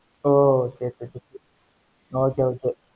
ஓஹ் சரி சரி okay okay